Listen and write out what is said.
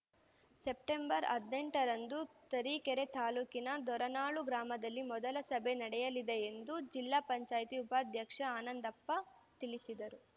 September ಹದಿನೆಂಟರಂದು ತರೀಕೆರೆ ತಾಲೂಕಿನ ದೋರನಾಳು ಗ್ರಾಮದಲ್ಲಿ ಮೊದಲ ಸಭೆ ನಡೆಯಲಿದೆ ಎಂದುಜಿಲ್ಲಾ ಪಂಚಾಯತಿ ಉಪಾಧ್ಯಕ್ಷ ಆನಂದಪ್ಪ ತಿಳಿಸಿದರು